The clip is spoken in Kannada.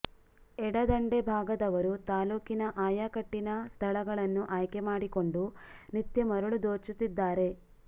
ಎಡ ದಂಡೆ ಭಾಗದವರು ತಾಲ್ಲೂ ಕಿನ ಆಯಕಟ್ಟಿನ ಸ್ಥಳಗಳನ್ನು ಆಯ್ಕೆ ಮಾಡಿಕೊಂಡು ನಿತ್ಯ ಮರಳು ದೋಚು ತ್ತಿದ್ದಾರೆ